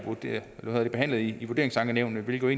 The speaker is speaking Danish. behandlet i vurderingsankenævnet hvilket